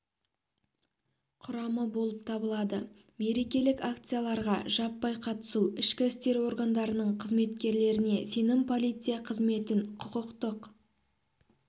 құрамы болып табылады мерекелік акцияларға жаппай қатысу ішкі істер органдарының қызметкерлеріне сенім полиция қызметін құқықтық